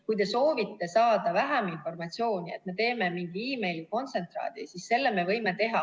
Kui te soovite saada vähem informatsiooni, et me teeme mingi kontsentraadi, siis selle me võime teha.